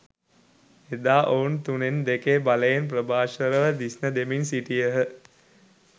එදා ඔවුන් තුනෙන් දෙකේ බලයෙන් ප්‍රභාස්වරව දිස්න දෙමින් සිටියහ